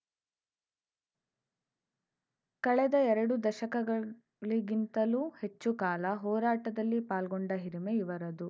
ಕಳೆದ ಎರಡು ದಶಕಗಳಿಗಿಂತಲೂ ಹೆಚ್ಚು ಕಾಲ ಹೋರಾಟದಲ್ಲಿ ಪಾಲ್ಗೊಂಡ ಹಿರಿಮೆ ಇವರದು